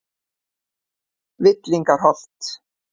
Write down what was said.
Villingaholti